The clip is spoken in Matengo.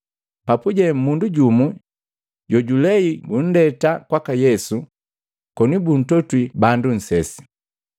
Papuje mundu jumu jojulei bundeta kwaka Yesu koni buntotwi bandu nsesi.